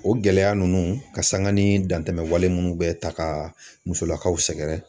O gɛlɛya ninnu ka sanga ni dantɛmɛwale minnu bɛ ta ka musolakaw sɛgɛrɛ